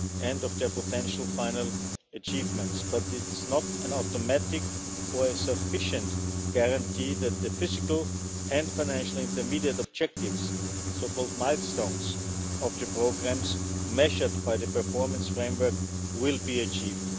and of their potential final achievements, but it's not an automatic or a sufficient guarantee that the physical and financial intermediate objectives, so-called milestones, of the programmes measured by the performance framework will be achieved.